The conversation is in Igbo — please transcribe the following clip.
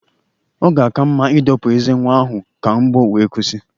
Ọ ga-aka mma ịdọpụ ezé nwa ahụ ka mgbu wee kwụsị.